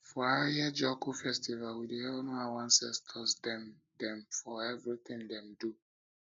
for ahiajoku festival we dey honour our ancestor dem dem for everytin dem do